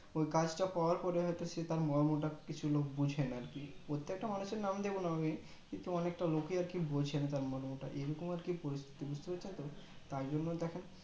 ওই কাজ তা পাওয়ার পরে হয়তো সে তার মর্ম কিছু হলেও বুঝে না আর কি প্রত্যেকটা মানুষ আর নাম দেবোন আমি কিন্তু অনেকটা লোকে আর কি বলছে আর কি তার মর্মটা এরকম আর কি পিরিস্থিতি বুজতে পারছেন তো তাই জন্য দেখেন